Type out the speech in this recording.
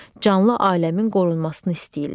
Canlı aləmin qorunmasını istəyirlər.